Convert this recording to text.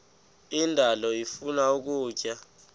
indalo ifuna ukutya